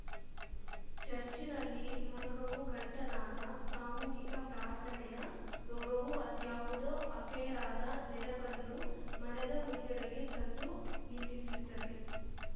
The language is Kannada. ಚರ್ಚಿನಲ್ಲಿ ಮೊಳಗವು ಘಂಟಾನಾದ ಸಾಮೂಹಿಕ ಪ್ರಾರ್ಥನೆಯ ಓಘವು ಅದ್ಯಾವುದೋ ಅಪೇರಾದ ನೆನಪನ್ನು ಮನದ ಮುಂದಲೆಗೆ ತಂದು ನಿಲ್ಲಿಸುತ್ತದೆ